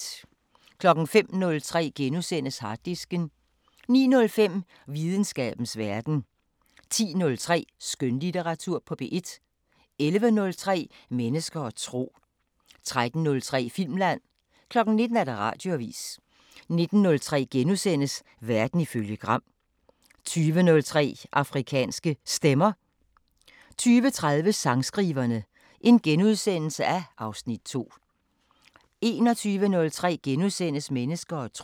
05:03: Harddisken * 09:05: Videnskabens Verden 10:03: Skønlitteratur på P1 11:03: Mennesker og tro 13:03: Filmland 19:00: Radioavisen 19:03: Verden ifølge Gram * 20:03: Afrikanske Stemmer 20:30: Sangskriverne (Afs. 2)* 21:03: Mennesker og tro *